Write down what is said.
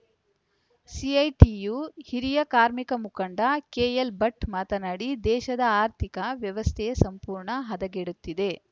CITU ಹಿರಿಯ ಕಾರ್ಮಿಕ ಮುಖಂಡ ಕೆಎಲ್‌ಭಟ್‌ ಮಾತನಾಡಿ ದೇಶದ ಆರ್ಥಿಕ ವ್ಯವಸ್ಥೆಯೇ ಸಂಪೂರ್ಣ ಹದಗೆಡುತ್ತಿದೆ